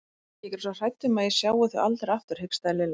Ég er svo hrædd um að ég sjái þau aldrei aftur hikstaði Lilla.